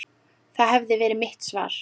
Það hefði verið mitt svar.